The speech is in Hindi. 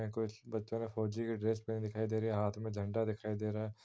ये कुछ बच्चा का फौजी की ड्रेस पहने दिखाई दे रहे हैं। हाथ मे झंडा दिखाई दे रहा है।